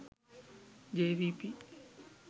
jvp